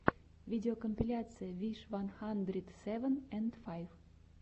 видеокомпиляция виш ван хандрит севен энд файв